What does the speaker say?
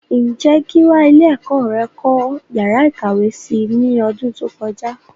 Ǹjé Gíwá ilé ẹ̀kọ́ rẹ kọ́ yàrá ìkàwé si ní ọdún tó kọjá?